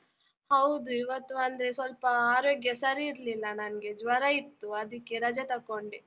ಹೌದು ಇವತ್ತು ಅಂದ್ರೆ ಸ್ವಲ್ಪ ಆರೋಗ್ಯ ಸರಿ ಇರ್ಲಿಲ್ಲ ನನ್ಗೆ, ಜ್ವರ ಇತ್ತು ಅದಕ್ಕೆ ರಜೆ ತಕೊಂಡೆ.